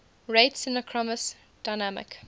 rate synchronous dynamic